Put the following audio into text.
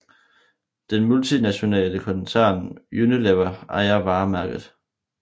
Den multinationale koncern Unilever ejer varemærket